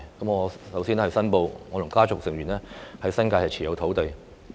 我首先要申報，我和我的家族成員在新界持有土地。